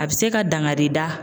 A bɛ se ka dangari da.